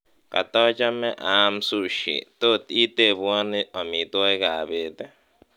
katochome aam sushi tot itebwon amitwogik ab beet ii